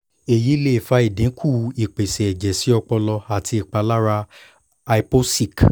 eyi le fa idinku ipese ẹjẹ si ọpọlọ ati ipalara hypoxic